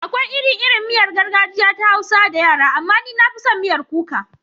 Akwai iri-irin miyar gargajiya ta Hausa da yara, amma ni na fi son miyar kuka.